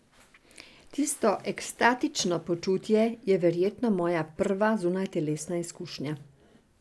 Tisto ekstatično počutje je verjetno moja prva zunajtelesna izkušnja.